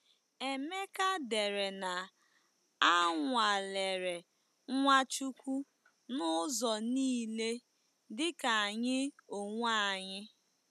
Emeka dere na a nwalere Nwachukwu n'ụzọ niile dịka anyị onwe anyị.